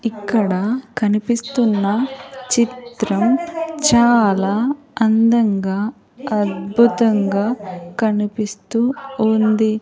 ఇక్కడ కనిపిస్తున్న చిత్రం చాలా అందంగా అద్భుతంగా కనిపిస్తూ ఉంది.